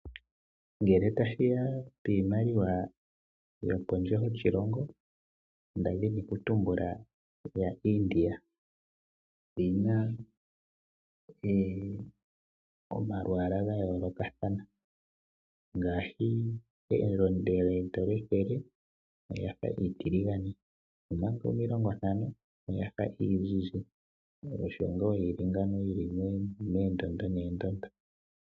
Ngele tashiya pimaliwa yopondje yoshilongo ndadhini oku tumbula ya India oyina omalwala gayoloka thana ngashi elondele eendola ethele olyafa etilingane omaka omilongo ntano oyafa iinzinzi, osho nga yili ngawo yili mendondo ne ndondo.